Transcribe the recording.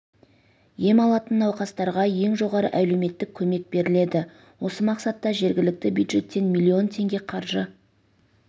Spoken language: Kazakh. ем алатын науқастарға ең жоғары әлеуметтік көмек беріледі осы мақсатта жергілікті бюджеттен миллион теңге қаржы